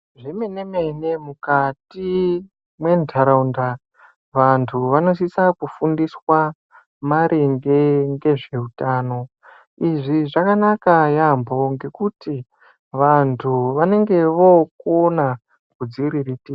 Zvemene mene mukati mwentaraunda ,vantu vanosisa kufundiswa maringe ngezveutano .Izvi zvakanaka yaampho, ngekuti vantu vanenge vookona kudziriritira.